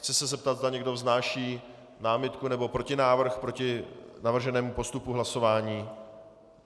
Chci se zeptat, zda někdo vznáší námitku nebo protinávrh proti navrženému postupu hlasování.